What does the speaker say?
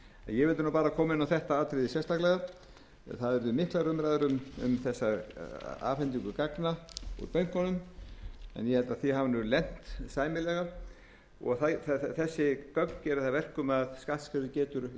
ég vildi bara koma inn á þetta atriði sérstaklega það urðu miklar umræður um afhendingu gagna úr bönkunum en ég held að því hafi verið lent sæmilega þessi gögn gera það að verkum að skattstjóri getur í